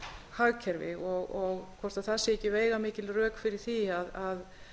hagkerfi og hvort það séu ekki veigamikil rök fyrir því að